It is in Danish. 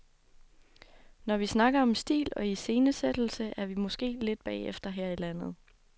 Når vi snakker om stil og iscenesættelse, er vi måske lidt bagefter her i landet.